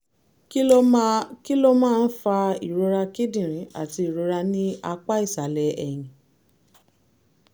kí ló máa kí ló máa ń fa ìrora kíndìnrín àti ìrora ní apá ìsàlẹ̀ ẹ̀yìn?